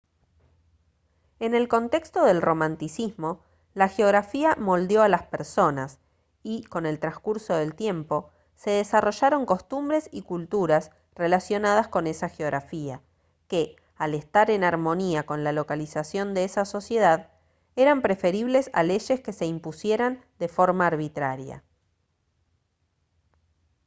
en el contexto del romanticismo la geografía moldeó a las personas y con el transcurso del tiempo se desarrollaron costumbres y culturas relacionadas con esa geografía que al estar en armonía con la localización de esa sociedad eran preferibles a leyes que se impusieran de forma arbitraria